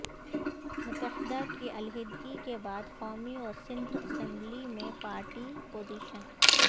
متحدہ کی علیحدگی کے بعد قومی و سندھ اسمبلی میں پارٹی پوزیشن